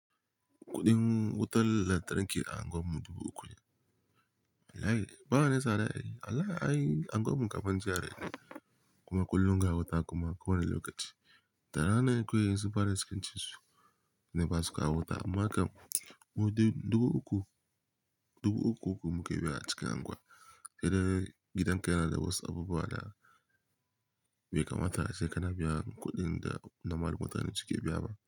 Kuɗin wutar lantarki a unguwarmu dubu uku. Wallai ba wani sada wallai, wallai ai unguwarmu kafin GRA ne, kuma kullum ga wuta kuma akwai wani lokaci. Da rana ne kawai su fara iskancin su ne basu kawo wuta amma kam mude dubu uku, dubu uku uku meke biya a cikin unguwa. Gidan ka yana da wasu abubuwa da bai kamata ace kana biyan kuɗin da normal mutane su ke biya ba.